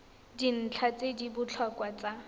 dintlha tse di botlhokwa tsa